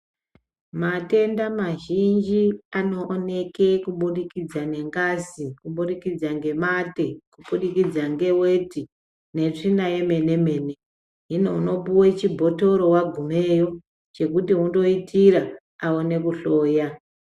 Matenda mazhinji anooneke kubudikidza nengazi kubudikidza ngemate kubudikidza ngeweti netsvina yemene mene hino unopuwe chibhotoro wagumeyo chekuti undoitira aone kuhloya.